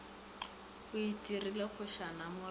o itirile kgošana mo rethuše